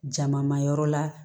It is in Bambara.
Jama ma yɔrɔ la